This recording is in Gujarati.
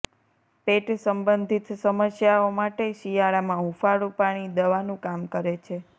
પેટ સંબંધિત સમસ્યાઓ માટે શિયાળામાં હૂંફાળું પાણી દવાનું કામ કરે છે